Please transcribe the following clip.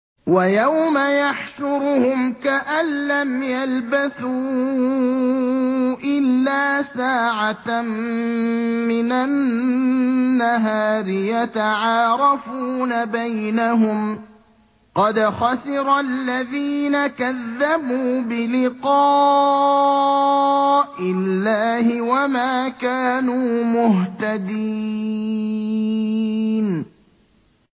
وَيَوْمَ يَحْشُرُهُمْ كَأَن لَّمْ يَلْبَثُوا إِلَّا سَاعَةً مِّنَ النَّهَارِ يَتَعَارَفُونَ بَيْنَهُمْ ۚ قَدْ خَسِرَ الَّذِينَ كَذَّبُوا بِلِقَاءِ اللَّهِ وَمَا كَانُوا مُهْتَدِينَ